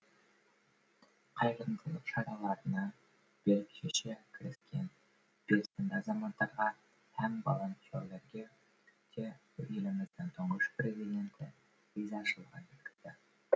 қайырымдылық шараларына бел шеше кіріскен белсенді азаматтарға һәм волонтерлерге де еліміздің тұңғыш президенті ризашылығын жеткізді